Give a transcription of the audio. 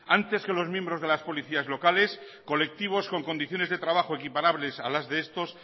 antes que los miembros de las policías locales colectivos con condiciones de trabajo equiparables a las de estos